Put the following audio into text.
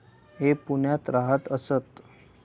हे पुण्यात राहत असत